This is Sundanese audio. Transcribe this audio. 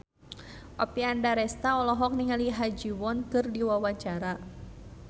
Oppie Andaresta olohok ningali Ha Ji Won keur diwawancara